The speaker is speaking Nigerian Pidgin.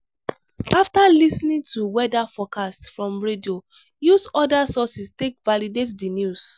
after lis ten ing to weather forcast from radio use oda sources take validate the news